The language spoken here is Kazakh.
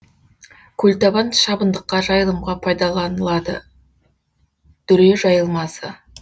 көлтабан шабындыққа жайылымға пайдаланылады дүре жайылмасы